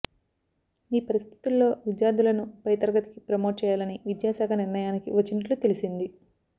ఈ పరిస్థితుల్లో విద్యార్థులను పైతరగతికి ప్రమోట్ చేయాలని విద్యాశాఖ నిర్ణయానికి వచ్చినట్లు తెలిసింది